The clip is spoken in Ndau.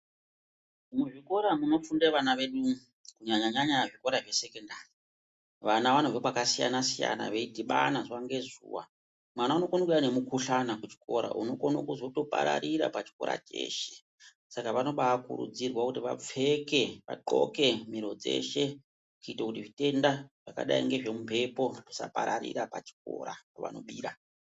Muzvikora munofunda vana vedu kunyanya-nyanya muzvikoro zvesekondari. Vana vanobva pakasiyana-siyana veidhibana zuva ngezuva mwana unokona kuuya nemukuhlana kuchikora unokone kuzopararira pachikora cheshe. Saka unobakurudzirwa kuti vapfeke vadhloke miro dzeshe kuita kuti zvitenda zvakadai ngezvemumhepo zvisapararira pachikora pavanobira.